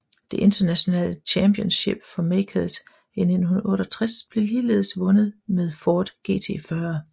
Det internationale Championship for Makers i 1968 blev ligeledes vundet med Ford GT40